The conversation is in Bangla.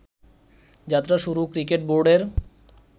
যাত্রা শুরু ক্রিকেট বোর্ডের